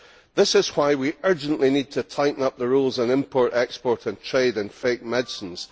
That is why we urgently need to tighten the rules on import, export and trade in fake medicines.